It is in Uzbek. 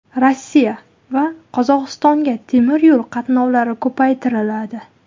Rossiya va Qozog‘istonga temiryo‘l qatnovlari ko‘paytiriladi .